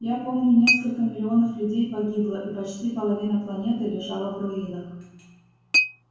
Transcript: я помню несколько миллионов людей погибло и почти половина планеты лежала в руинах